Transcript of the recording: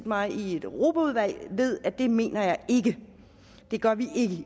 mig i europaudvalget ved at det mener jeg ikke det gør vi